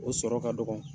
O sɔrɔ ka dɔgɔ